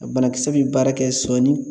A banakisɛ bɛ baara kɛ sɔni